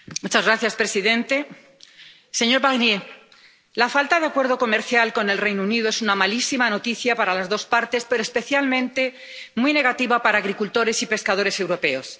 Señor presidente, señor Barnier, la falta de acuerdo comercial con el Reino Unido es una malísima noticia para las dos partes, pero especialmente muy negativa para los agricultores y los pescadores europeos.